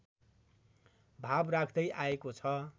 भाव राख्दै आएको छ